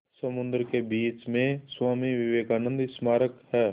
समुद्र के बीच में स्वामी विवेकानंद स्मारक है